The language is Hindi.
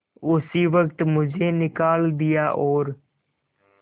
उसी वक्त मुझे निकाल दिया और